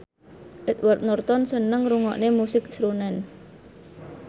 Edward Norton seneng ngrungokne musik srunen